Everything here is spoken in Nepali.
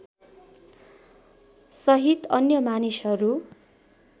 सहित अन्य मानिसहरू